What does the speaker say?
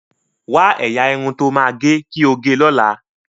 Wa ẹyà Irun tó má o ge kii ọ gé ló là.